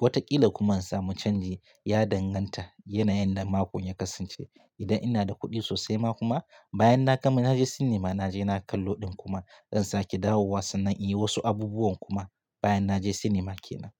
Watakila kuma in samu canji, ya danganta yanayin da makon ya kasance. Idan ina da kuɗi sosai ma kuma, bayan na gama na je sinima, na je na kallo ɗin kuma zan sake dawowa sannan in yi wasu abubuwan kuma bayan na je sinima ke nan.